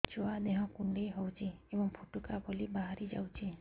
ଛୁଆ ଦେହ କୁଣ୍ଡେଇ ହଉଛି ଏବଂ ଫୁଟୁକା ଭଳି ବାହାରିଯାଉଛି